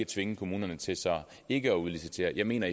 tvinge kommunerne til ikke at udlicitere jeg mener